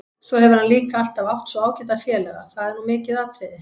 Svo hefur hann líka alltaf átt svo ágæta félaga, það er nú mikið atriði.